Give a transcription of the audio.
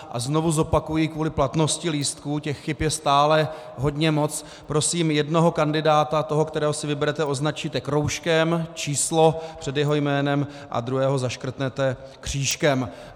A znovu zopakuji kvůli platnosti lístků, těch chyb je stále hodně moc, prosím, jednoho kandidáta, toho, kterého si vyberete, označíte kroužkem, číslo před jeho jménem, a druhého zaškrtnete křížkem.